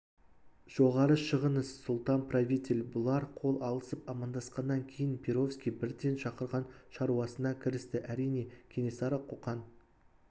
жоғары шығыңыз сұлтан-правитель бұлар қол алысып амандасқаннан кейін перовский бірден шақырған шаруасына кірісті әрине кенесары қоқан